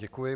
Děkuji.